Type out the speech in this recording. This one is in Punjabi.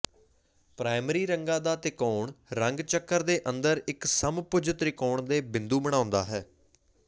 ਪ੍ਰਾਇਮਰੀ ਰੰਗਾਂ ਦਾ ਤਿਕੋਣ ਰੰਗ ਚੱਕਰ ਦੇ ਅੰਦਰ ਇੱਕ ਸਮਭੁਜ ਤ੍ਰਿਕੋਣ ਦੇ ਬਿੰਦੂ ਬਣਾਉਂਦਾ ਹੈ